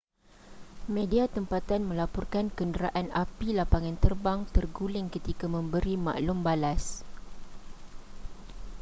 media tempatan melaporkan kenderaan api lapangan terbang terguling ketika memberi maklum balas